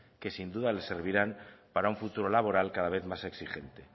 que sin duda le servirán para un futuro laboral cada vez más exigente